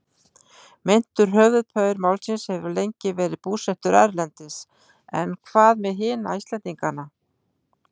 Meintur höfuðpaur málsins hefur lengi verið búsettur erlendis en hvað með hina Íslendingana?